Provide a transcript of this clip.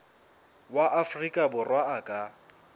wa afrika borwa a ka